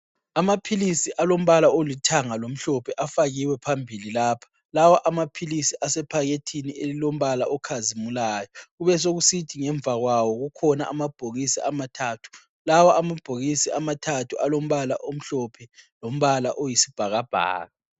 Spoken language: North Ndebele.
Amaphilisi alombala olithanga lomhlophe afakiwe phambili lapho. Lawa amaphilisi asephakethini elilombala okhazimulayo kubesokusithi ngemva kwawo kukhona amabhokisi amathathu, lawo amabhokisi amathathu alombala omhlophe lombala oyisibhakabhaka.